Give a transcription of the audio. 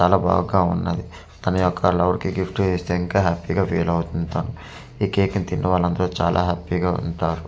చాలా బాగగా ఉన్నది తాన యొక్క లవర్ కి గిఫ్ట్ ఇస్తే ఇంకా హ్యాపీగా ఫీల్ తను ఈ కేక్ ని తినడం తో చాల హ్యాపీ గా ఉంటారు.